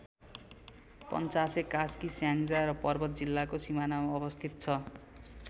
पञ्चासे कास्की स्याङ्जा र पर्वत जिल्लाको सिमानामा अवस्थित छ।